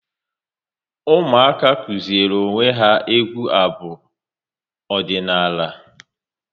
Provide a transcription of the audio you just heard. Ụmụaka kụziri onwe ya egwu abu ọdịnala